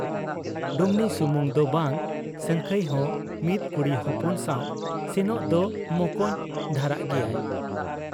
ᱰᱩᱢᱱᱤ ᱥᱩᱢᱩᱝ ᱫᱚ ᱵᱟᱝ, ᱥᱟᱹᱝᱠᱷᱟᱹᱭ ᱦᱚᱸ ᱢᱤᱫ ᱠᱩᱲᱤ ᱦᱚᱯᱚᱱ ᱥᱟᱶ ᱥᱮᱱᱚᱜ ᱫᱚ ᱢᱚᱠᱚᱧ ᱫᱷᱟᱨᱟᱜ ᱜᱮᱭᱟᱭ ᱾